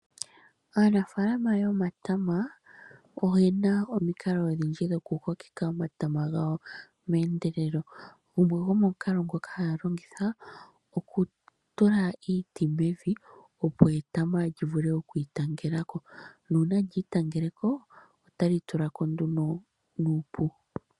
Aanafaalama yomatama oyena omikalo odhindji dhokukokeka omatama gawo meendelelo, gumwe gomomukalo ngoka haya longitha okutula iiti mevi opo etama lyivule okwiitangela ko, nuuna lyitangeleko otali tulako nduno nuupu.